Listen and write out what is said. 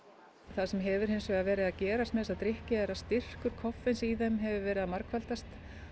það sem hefur hins vegar verið að gerast með þessa drykki er að styrkur koffeins í þeim hefur verið að margfaldast